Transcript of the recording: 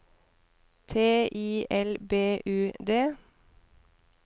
T I L B U D